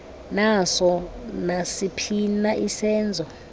naso nasiphina isenzo